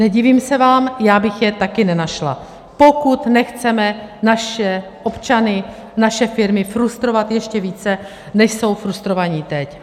Nedivím se vám, já bych je taky nenašla, pokud nechceme naše občany, naše firmy frustrovat ještě více, než jsou frustrovaní teď.